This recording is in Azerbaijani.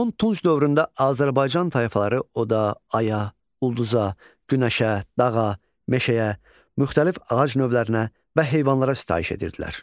Son tunç dövründə Azərbaycan tayfaları oda, aya, ulduza, günəşə, dağa, meşəyə, müxtəlif ağac növlərinə və heyvanlara sitayiş edirdilər.